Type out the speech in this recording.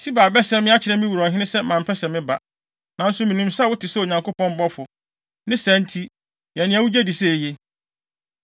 Siba abɛsɛe me akyerɛ me wura ɔhene sɛ mampɛ sɛ meba. Nanso minim sɛ wote sɛ Onyankopɔn bɔfo; ne saa nti, yɛ nea wugye di sɛ eye.